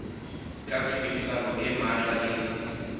ka tshebedisano e matla le